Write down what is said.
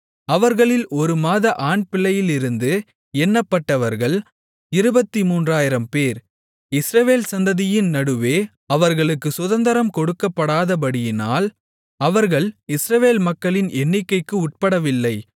அவர்களில் ஒரு மாத ஆண்பிள்ளையிலிருந்து எண்ணப்பட்டவர்கள் 23000 பேர் இஸ்ரவேல் சந்ததியின் நடுவே அவர்களுக்குச் சுதந்தரம் கொடுக்கப்படாதபடியினால் அவர்கள் இஸ்ரவேல் மக்களின் எண்ணிக்கைக்கு உட்படவில்லை